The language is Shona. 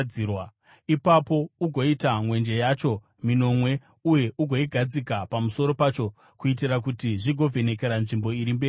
“Ipapo ugoita mwenje yacho minomwe uye ugoigadzika pamusoro pacho kuitira kuti zvigovhenekera nzvimbo iri mberi kwacho.